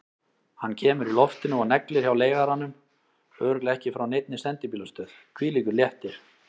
Hann kemur í loftinu og neglir hjá leigaranum, örugglega ekki frá neinni sendibílastöð, hvílíkur léttir!